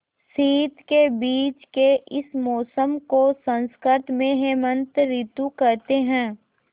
शीत के बीच के इस मौसम को संस्कृत में हेमंत ॠतु कहते हैं